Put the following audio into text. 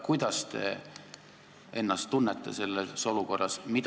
Kuidas te ennast tunnete selles olukorras?